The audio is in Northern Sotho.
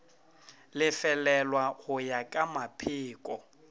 lefelelwa go ya ka mapheko